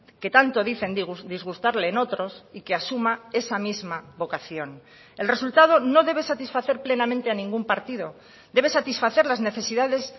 que tanto dicen disgustarle en otros y que asuma esa misma vocación el resultado no debe satisfacer plenamente a ningún partido debe satisfacer las necesidades